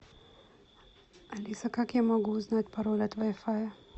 алиса как я могу узнать пароль от вай фая